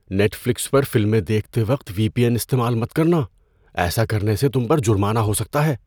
Net flicks پر فلمیں دیکھتے وقت وی پی این استعمال مت کرنا۔ ایسا کرنے سے تم پر جرمانہ ہو سکتا ہے۔